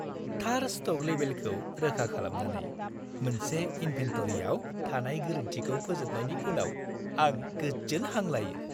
थार स्ट'क लेबेलखौ रोखा खालामनानै, मोनसे इन्भेन्टरिआव थानाय गोरोन्थिखौ फोजोबनायनि उनाव आं गोजोन हां लायो।